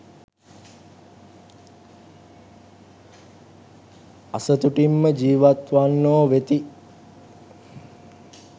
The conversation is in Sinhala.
අසතුටින්ම ජීවත්වන්නෝ වෙති.